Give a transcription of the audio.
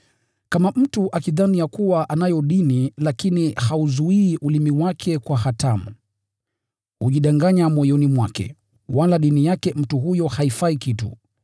Kama mtu akidhani ya kuwa anayo dini lakini hauzuii ulimi wake kwa hatamu, hujidanganya moyoni mwake, wala dini yake mtu huyo haifai kitu.